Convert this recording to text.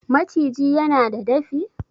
maciji yana da dafi?